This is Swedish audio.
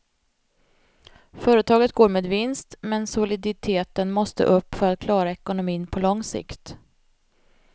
Företaget går med vinst, men soliditeten måste upp för att klara ekonomin på lång sikt.